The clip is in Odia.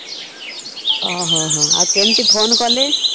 ଓ ହଁ ହଁ ଆଉ କେମିତି phone କଲେ?